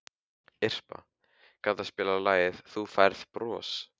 Irpa, kanntu að spila lagið „Þú Færð Bros“?